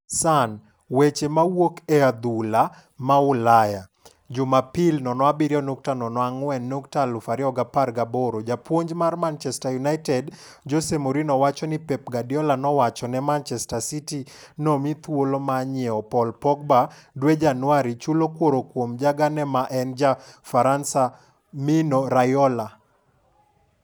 (Sun) Weche mawuok e adhula ma Ulaya Jumapil 07.04.2018Japuonjmar Manchester United Jose Mourinho wacho ni Pep Guardiola nowachone Manchester City no mi thuolo ma nyiew Paul Pogba dwe Januari chulo kuor kuom jagane ma enja Faransa Mino Raiola.